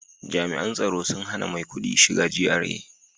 Jami'an tsaro sun hana maikudi shiga GRA